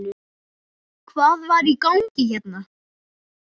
Hvað var í gangi hérna?